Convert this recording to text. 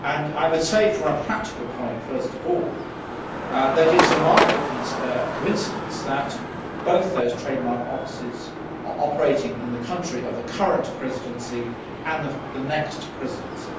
I would say, from a practical point of view first of all, that it is a remarkable coincidence that both those trademark offices are operating in the country of the current Presidency and the next Presidency.